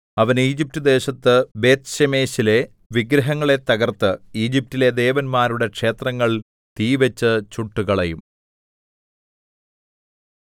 അവൻ ഈജിപ്റ്റ് ദേശത്ത് ബേത്ത്ശേമെശിലെ വിഗ്രഹങ്ങളെ തകർത്ത് ഈജിപ്റ്റിലെ ദേവന്മാരുടെ ക്ഷേത്രങ്ങൾ തീവച്ച് ചുട്ടുകളയും